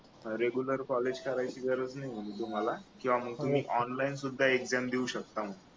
अह regular college करायची गरज नाही तुम्हाला किंवा मग तुम्ही ऑनलाईन सुद्धा एक्झाम देऊ शकता मग